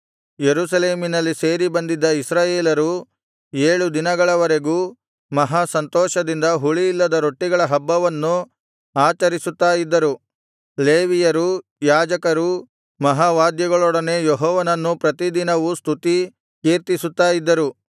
ಯೆರೂಸಲೇಮಿನಲ್ಲಿ ಸೇರಿಬಂದಿದ್ದ ಇಸ್ರಾಯೇಲರು ಏಳು ದಿನಗಳವರೆಗೂ ಮಹಾ ಸಂತೋಷದಿಂದ ಹುಳಿಯಿಲ್ಲದ ರೊಟ್ಟಿಗಳ ಹಬ್ಬವನ್ನು ಆಚರಿಸುತ್ತಾ ಇದ್ದರು ಲೇವಿಯರೂ ಯಾಜಕರೂ ಮಹಾವಾದ್ಯಗಳೊಡನೆ ಯೆಹೋವನನ್ನು ಪ್ರತಿದಿನವೂ ಸ್ತುತಿ ಕೀರ್ತಿಸುತ್ತಾ ಇದ್ದರು